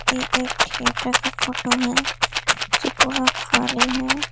ये एक थिएटर की फोटो है जो पूरा खाली है।